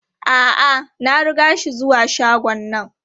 A'a, na riga shi zuwa shagon nan.